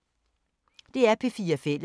DR P4 Fælles